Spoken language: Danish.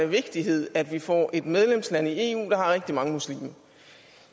vigtighed at vi får et medlemsland i eu der har rigtig mange muslimer